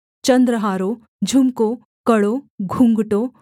चन्द्रहारों झुमकों कड़ों घूँघटों